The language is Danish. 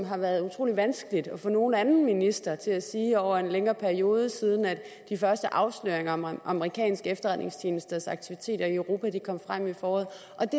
har været utrolig vanskeligt at få nogen anden minister til at sige over en længere periode siden de første afsløringer om amerikanske efterretningstjenesters aktiviteter i europa kom frem i foråret